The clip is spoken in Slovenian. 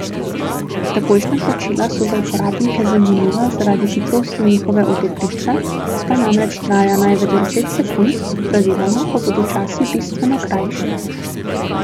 Takojšnja plačila so za uporabnike zanimiva zaradi hitrosti njihove odobritve, ta namreč traja največ deset sekund, praviloma pa bodo časi bistveno krajši.